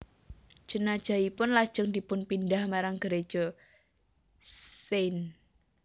Jenazahipun lajeng dipunpindhah marang Gereja St